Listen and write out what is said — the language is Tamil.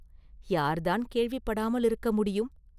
யார்தான் கேள்விப்படாமலிருக்க முடியும்?